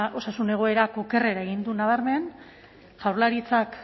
osasun egoerak okerrera egin du nabarmen jaurlaritzak